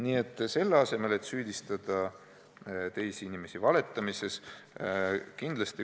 Nii et ei maksa teisi inimesi valetamises süüdistada.